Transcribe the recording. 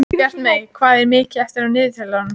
Bjartmey, hvað er mikið eftir af niðurteljaranum?